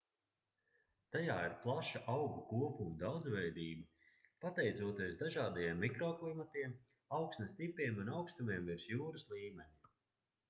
tajā ir plaša augu kopumu daudzveidība pateicoties dažādajiem mikroklimatiem augsnes tipiem un augstumiem virs jūras līmeņa